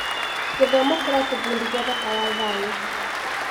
Gĩthomo kĩratũbundithia bata wa thayũ.